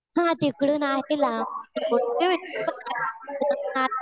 हा तिकडून आहे लांब.